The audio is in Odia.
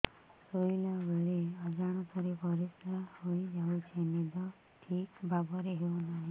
ଶୋଇଲା ବେଳେ ଅଜାଣତରେ ପରିସ୍ରା ହୋଇଯାଉଛି ନିଦ ଠିକ ଭାବରେ ହେଉ ନାହିଁ